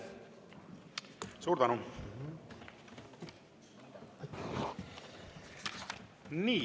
Suur tänu!